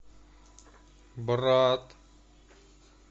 брат